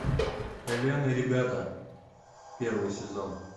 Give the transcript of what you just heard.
элен и ребята первый сезон